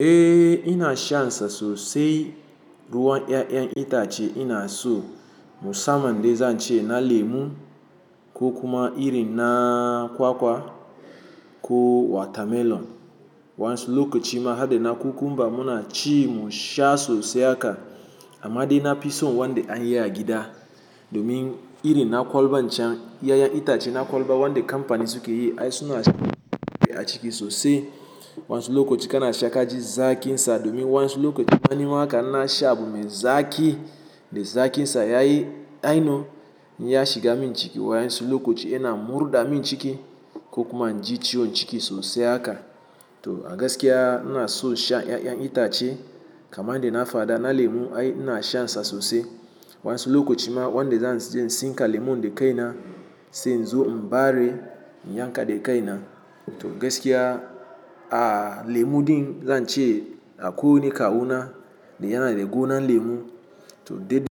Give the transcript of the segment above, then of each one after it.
Eh ina sha sa sosai ruwan ƴaƴan itace ina so musamman dai zan ce na lemu ko kuma irin na kwakwa ko watermelon. Wa'an su lokacin ma hade na cucumber muna ci mu sha sosai haka amma dai na fi so wanda an yi a gida domin irin na kwalba can ƴaƴan itace na kwalba wanda kamfanin su ke yi ai suna sha a ciki sosai. Wa'an su lokaci kana sha kaji zaƙi sa domin wa'an su lokaci ma nima aka in na sha abun me zaƙi da zaƙi sa yayi aino, ya shiga min jiki wa wa'an su lokaci yana murɗa min ciki ko kuma an ji ciwon ciki sosai haka. To a gaskiya ina so sha ƴaƴan itace kamar dai na fada na lemu ai ina shan sa sosai wa'an sullokaci ma wanda zan je in tsinka lemon dai kai na sai in zo in bare in yanka da kai na. To gaskiya, a lemu din zan ce akwai wani kawu na da yana da gona lemu. To ɗiɗi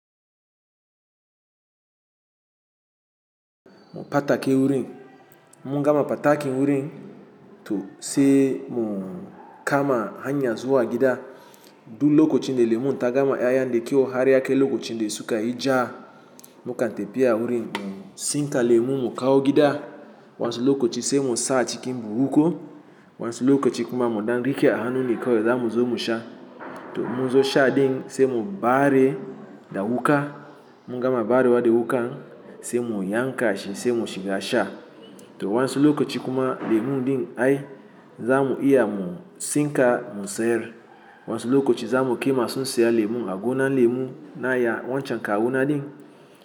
mu ɓata ke wurin, mun gama ɓatakin wurin to sai mu kama hanya zuwa gida. Du lokacin da lemun ta gama ƴaƴan dai kyau har yakai lokacin da sukan yi ja, mukan tafi a wurin mu tsinka lemu mu kawo gida wa'an su lokaci sai mu sa a cikin buhu ko wa'an su lokaci kuma mu ɗan riƙe a hannu ne kawai zamu zo mu sha. To in mun zo sha din sai mu bari da wuƙa, mun gama barewa da wuƙan sai mu yanka shi sai mu shiga sha. To wa'an su lokaci kuma lemu din ai za mu iya mu tsinka mu sayar. Wa'an su lokaci za mu kai ma masu sayar lemu a gona lemu na ya wancan kawu na din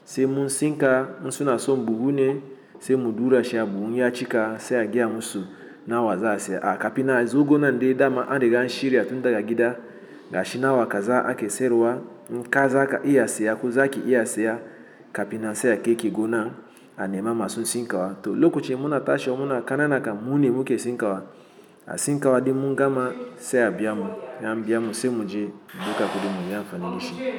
sai mu tsinka in suna so buhu ne sai mu dura shi a buhun in ya cika sai a gaya musu na wa za a saya. A kapi na azo gona dai dama an riga an shirya tun daga gida ga shi na wa kaza ake sayarwa, in ka zaka iya saya ko zaƙi iya saya kapina sai a kai ki gona a nema masu tsinka wa. To lokacin muna tashi wa muna kanana kam mun nemi mu ke tsinka wa, a tsinka wa din mun gama sai a biya mu, in a biya mu sai mu je mu dauka kudi mu yi amfanin shi.